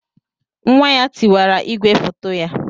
Nwa ya tiwara igwe foto ya.